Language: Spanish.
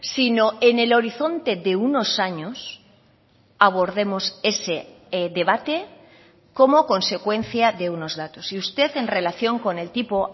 sino en el horizonte de unos años abordemos ese debate como consecuencia de unos datos y usted en relación con el tipo